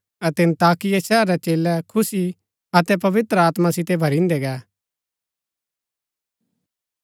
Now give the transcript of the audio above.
अतै अन्ताकिया शहरा रै चेलै खुशी अतै पवित्र आत्मा सितै भरिन्दै गै